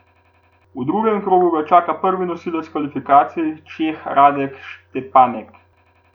V drugem krogu ga čaka prvi nosilec kvalifikacij, Čeh Radek Štepanek.